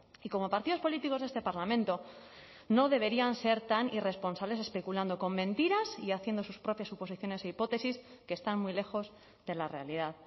y como partidos políticos de este parlamento no deberían ser tan irresponsables especulando con mentiras y haciendo sus propias suposiciones e hipótesis que están muy lejos de la realidad